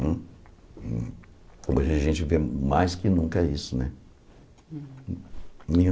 Hoje a gente vê mais que nunca isso, né?